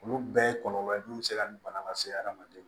Olu bɛɛ ye kɔlɔlɔ mun bɛ se ka nin bana lase hadamaden ma